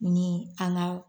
Ni an ŋaw